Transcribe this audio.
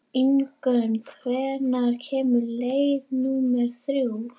Ingunn, hvenær kemur leið númer þrjú?